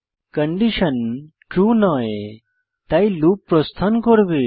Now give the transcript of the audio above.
condition true নয় তাই loop প্রস্থান করবে